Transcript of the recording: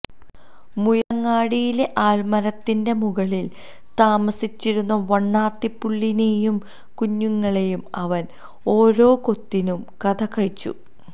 മുയലങ്ങാടിയിലെ ആൽമരത്തിന്റെ മുകളിൽ താമസിച്ചിരുന്ന വണ്ണാത്തിപ്പുളളിനെയും കുഞ്ഞുങ്ങളേയും അവൻ ഓരോ കൊത്തിന് കഥ കഴിച്ചു